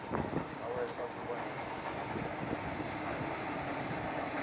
nawehla kuba nendlala